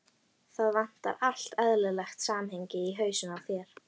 Það vantar allt eðlilegt samhengi í hausinn á þér.